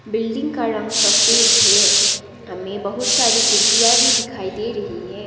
Building का रंग सफेद है हमें बहुत सारी खिड़कियां भी दिखाई दे रही है।